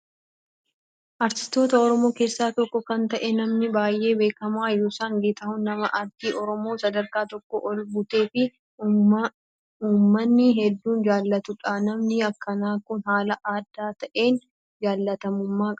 Artistoota oromoo keessaa tokko kan ta'e namni baay'ee beekamaa Yoosan Geetahuun nama aartii oromoo sadarkaa tokko ol butee fi uummanni hedduun jaallatudha. Namni akkanaa Kun haala adda ta'een jaallatamummaa qaba.